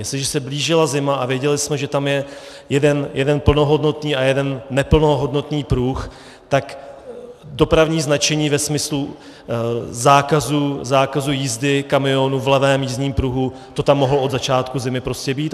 Jestliže se blížila zima a věděli jsme, že tam je jeden plnohodnotný a jeden neplnohodnotný pruh, tak dopravní značení ve smyslu zákazu jízdy kamionů v levém jízdním pruhu, to tam mohlo od začátku zimy prostě být.